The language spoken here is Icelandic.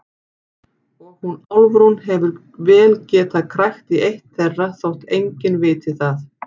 Og hún Álfrún hefur vel getað krækt í eitt þeirra þótt enginn viti það.